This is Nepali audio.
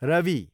रवि